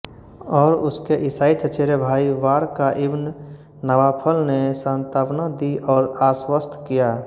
और उसके ईसाई चचेरे भाई वारका इब्न नवाफल ने सांत्वना दी और आश्वस्त किया